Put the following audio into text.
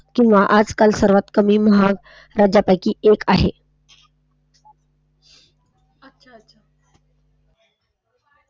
किंवा आज काळ सर्वात कमी महाग राज्यांपैकी एक आहे. अच्छा अच्छा.